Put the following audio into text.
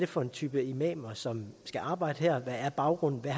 for en type imamer som skal arbejde her hvad baggrunden er